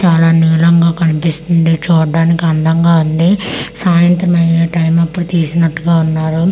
చాలా నీలంగా కనిపిస్తుంది చూడ్డానికి అందంగా ఉంది సాయంత్రం అయే టైమ్ అప్పుడు తీసినట్టుగా ఉన్నారు.